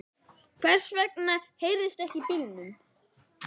Hvers vegna heyrist ekkert í bílunum?